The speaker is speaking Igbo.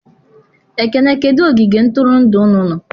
Ekene kedu ogige ntụrụndụ unu nọ?